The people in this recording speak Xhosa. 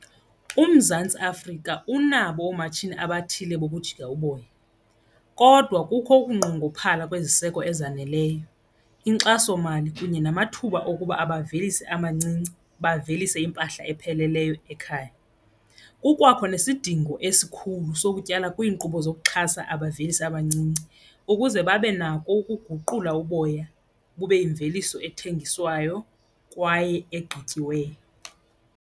UMzantsi Afrika unabo oomatshini abathile bokujika uboya kodwa kukho ukunqongophala kweziseko ezaneleyo, inkxasomali kunye namathuba okuba abavelisi amancinci bavelise impahla epheleleyo ekhaya. Kukwakho nesidingo esikhulu sokutyala kwiinkqubo zokuxhasa abavelisi abancinci ukuze babe nako ukuguqula uboya bube yimveliso ethengiswayo kwaye egqithatyiweyo.